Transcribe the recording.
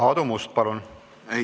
Aadu Must, palun!